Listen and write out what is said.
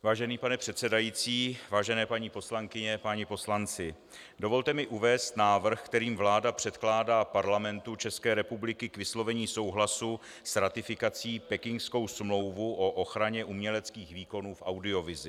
Vážený pane předsedající, vážené paní poslankyně, páni poslanci, dovolte mi uvést návrh, kterým vláda předkládá Parlamentu České republiky k vyslovení souhlasu s ratifikací Pekingskou smlouvu o ochraně uměleckých výkonů v audiovizi.